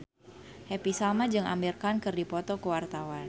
Happy Salma jeung Amir Khan keur dipoto ku wartawan